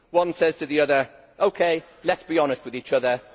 One says to the other, OK, let's be honest with each other'